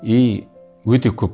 и өте көп